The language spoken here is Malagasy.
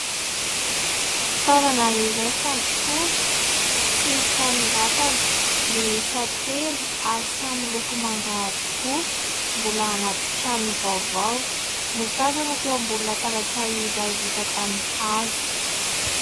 Fitaovana iray : fandokoana sy fanoratana, miisa telo ary samy miloko manga avokoa, mbola anaty trano vaovao ; no tazana teo ambony latabatra iray vita tamin'ny hazo.